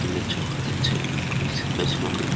লে জল আছে তুলসীগাছ ।